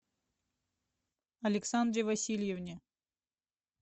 александре васильевне